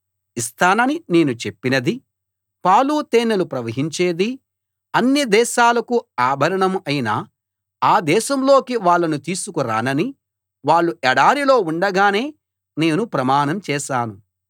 ఇస్తానని నేను చెప్పినదీ పాలు తేనెలు ప్రవహించేదీ అన్ని దేశాలకూ ఆభరణం అయిన ఆ దేశంలోకి వాళ్ళను తీసుకు రానని వాళ్ళు ఎడారిలో ఉండగానే నేను ప్రమాణం చేశాను